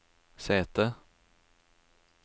sete